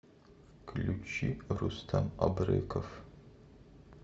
включи рустам абреков